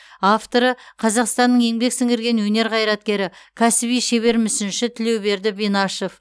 авторы қазақстанның еңбек сіңірген өнер қайраткері кәсіби шебер мүсінші тілеуберді бинашев